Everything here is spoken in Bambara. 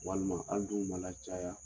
Walima an dun ma lacaya